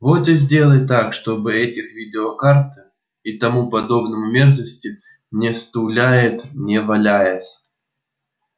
вот и сделай так чтобы этих видеокарт и тому подобной мерзости на стульях не валялось